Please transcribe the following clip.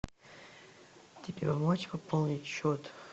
тебе помочь пополнить счет